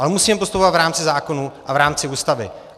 Ale musíme postupovat v rámci zákonů a v rámci Ústavy.